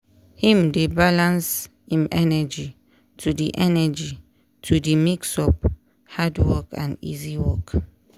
him dey balans im energy to de energy to de mix up hard work and easy work.